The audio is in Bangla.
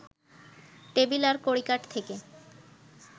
টেবিল আর কড়িকাঠ থেকে